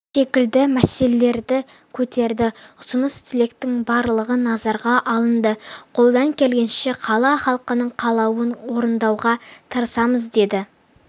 секілді мәселелерді көтерді ұсыныс-тілектің барлығы назарға алынды қолдан келгенше қала халқының қалауын орындауға тырысамыз деді